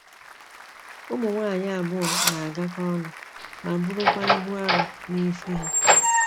Ụmụ nwanyị abụọ na-agakọ ọnụ ma burukwa ibu arọ n'isi ha.